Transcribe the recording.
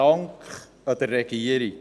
Dank der Regierung.